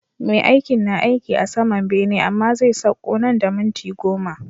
Me aikin, na aiki a saman bene amma zai sakko nan da minti goma